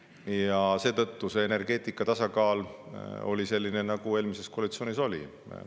Ja seetõttu oli energeetika tasakaal selline, nagu eelmises koalitsioonis oli.